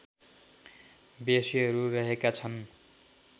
बेसीहरू रहेका छन्